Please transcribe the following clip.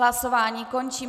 Hlasování končím.